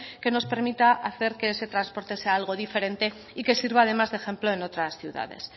que nos permita hacer que ese transporte sea algo diferente y que sirva además de ejemplo en otras ciudades